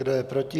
Kdo je proti?